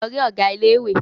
Lọ rí Ọ̀gá ilé ìwé!